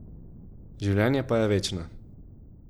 Življenje pa je večno.